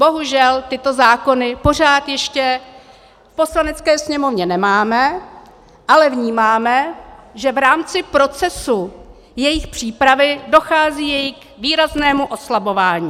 Bohužel tyto zákony pořád ještě v Poslanecké sněmovně nemáme, ale vnímáme, že v rámci procesu jejich přípravy dochází k jejich výraznému oslabování.